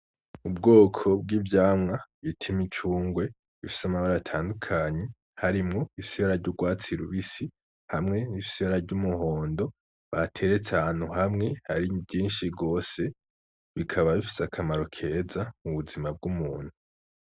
Ubwoko bw'ivyamwa bita imicungwe, bifise amabara atandukanye harimwo ibifise ibara ry’urwatsi rubisi hamwe n’ibifise ibara ry'umuhondo, bateretse ahantu hamwe ari vyinshi gose bikaba bifise akamaro keza mu buzima bw'umuntu.